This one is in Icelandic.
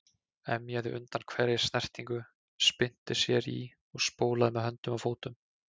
Emjaði undan hverri snertingu, spyrnti sér í og spólaði með höndum og fótum.